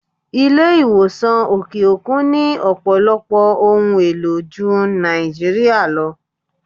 Ilé ìwòsàn òkè òkun ni Ọ̀pọ̀lọpọ̀ ohun èlò Jun Nigeria lọ.